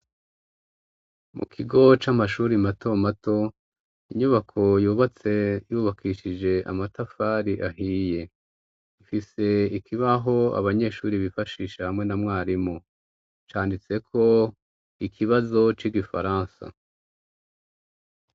mu kigo c'amashuri mato mato inyubako yubatse yubakishije amatafari ahiye ifise ikibaho abanyeshuri bifashisha hamwe na mwarimu canditseko ikibazo c'igifaransa